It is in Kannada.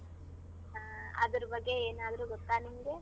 ಹ್ಮ ಅದ್ರ್ ಬಗ್ಗೆ ಏನಾದ್ರೂ ಗೊತ್ತ ನಿಮ್ಗೆ?